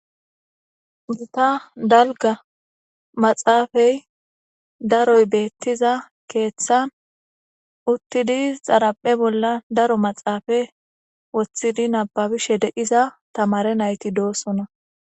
Gita dalgga maxaafey daroy beetiza keeththan uttidi xaraphe bolla daro maxaafe woththi nabbabishe de'iza tamaare nayti doosona.